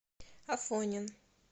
афонин